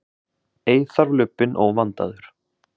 Ei þarf lubbinn óvandaður